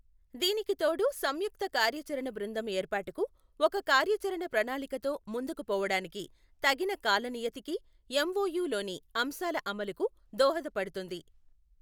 దీనికి తోడు సంయుక్త కార్యాచరణ బృందం ఏర్పాటుకు, ఒక కార్యాచరణ ప్రణాళికతో ముందుకు పోవడానికి, తగిన కాలనియతికి, ఎంఒయు లోని అంశాల అమలుకు దోహదపడుతుంది.